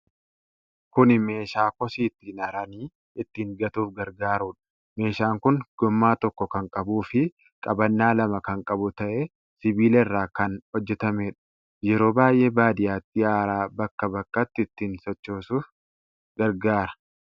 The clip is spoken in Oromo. Kuni meeshaa kosii ittiin haranii, ittiin gatuuf gargaarudha. meeshaan kun gommaa tokko kan qabuufii qabannaa lama kan qabu ta'ee, sibiila irraa kan hojjatameedha. Yeroo baay'ee baadiyyaatti haraa bakkaa bakkatti ittiin sochoosuuf gargaara.